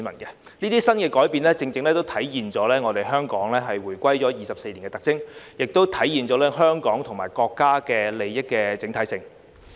這些新改變正正體現了香港回歸祖國24年的特徵，也體現了香港與國家利益的整體性。